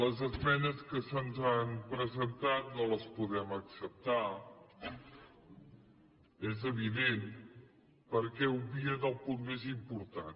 les esmenes que se’ns han presentat no les podem acceptar és evident perquè obvien el punt més important